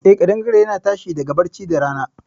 Eh, kaɗangare yana tashi daga barci da rana.